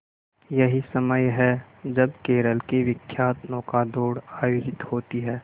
यही समय है जब केरल की विख्यात नौका दौड़ आयोजित होती है